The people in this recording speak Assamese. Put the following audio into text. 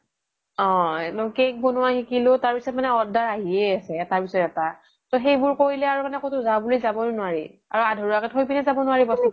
অ cake বনুৱা শিকিলো তাৰ পিছ্ত মানে order আহিয়ে আছে এটাৰ পিছ্ত এটা মানে সেইবোৰ কৰিলে আৰু ক্'তো যাও বুলি যাবই নোৱাৰি আৰু আধৰুৱাকে থই পিনে জাব নুৱাৰি বস্ততো